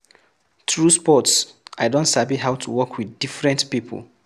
Through sports, I don sabi how to work with different pipo